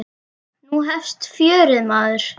Nú hefst fjörið, maður.